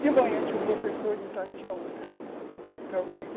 De manhã tinha um professor, de tarde tinha outro.